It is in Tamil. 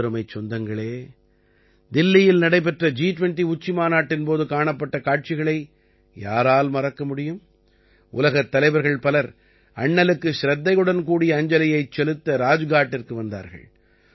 எனதருமைச் சொந்தங்களே தில்லியில் நடைபெற்ற ஜி20 உச்சிமாநாட்டின் போது காணப்பட்ட காட்சிகளை யாரால் மறக்க முடியும் உலகத் தலைவர்கள் பலர் அண்ணலுக்குச் சிரத்தையுடன் கூடிய அஞ்சலியைச் செலுத்த ராஜ்காட்டிற்கு வந்தார்கள்